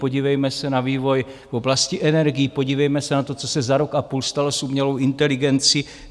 Podívejme se na vývoj v oblasti energií, podívejme se na to, co se za rok a půl stalo s umělou inteligencí.